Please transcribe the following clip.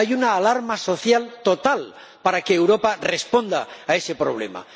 Hay una alarma social total para que Europa responda a esos problemas.